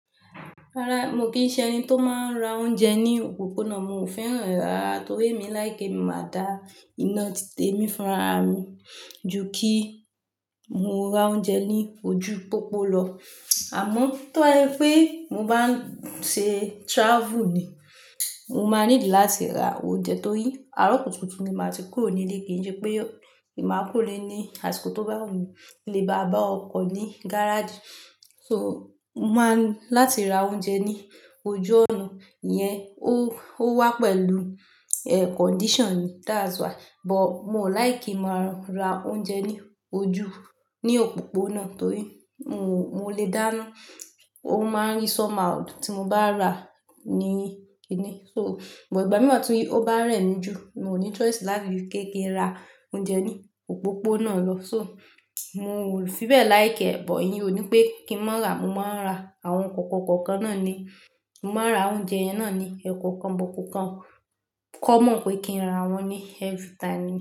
Rárá, mo kì í ṣe ẹni tó máa ń ra oúnjẹ ní òpópónà. Mo ò fẹ́ràn rárá torí èmi láìki, k'emi máa da iná títè mí fúnra mi ju kí mo ra oúnjẹ ní ojú pópó lọ. Àmọ́ tó ba sẹ pé mo bá ń ṣe travel ni, mo máa niidi láti ra oúnjẹ torí àárọ̀ kùtùkùù ní máa ti kúrò nílé kì í ṣe pé èmi máa kúrò ile ní àsìkò tó bá wù mí kí lè bá bá ọkọ̀ ní gáràjì. So, mo máa ń láti ra oúnjẹ ní ojú ọ̀nà yẹn, ó, ó wá pẹ̀lú, e, condition that's why. But mo ò láìkí máa ra oúnjẹ ní ojú, ní òpópónà torí mo, mo lè dáná. Ó máa ń rí somehow tí mo bá rà á ní kinni. So, but ìgbà mìí tí ó bá rẹ̀ mí ju, mo ní choice láti kéé kin ra oúnjẹ ní òpópónà lọ. So, mo ò fi bẹ́ẹ̀ láìkẹ́, but íyen ò ní pé kí n má rà. Mo máa ń ra àwọn kòókàn kòókàn náà ni. Mo máa ra oúnjẹ yen náà ni ẹ́kọ̀ọ́kan bọ̀kọ̀kan. Kọ́ mọ̀ pé kí n rà wọ́n ní every time.